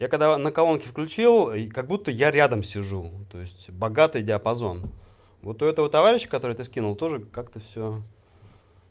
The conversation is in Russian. я когда на колонке включил и как будто я рядом сижу то есть богатый диапазон вот у этого товарищ которого ты скинул тоже как-то все